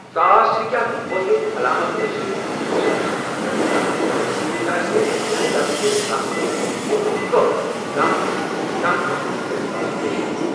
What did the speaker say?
ژاس ہیٚکہِ اکھ وٲحد علامت ٲسِتھ یُس أمِس نفرس دمہٕ کہ وجہہ سۭتۍ آسہِ، یا دمہٕ کِس عَلامتس منٛز چھِ کھرٛۄکھ، دم تہٕ سینس دم گژھنُک احساس تہِ شٲمِل۔